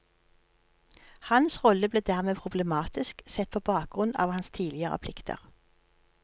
Hans rolle ble dermed problematisk, sett på bakgrunn av hans tidligere plikter.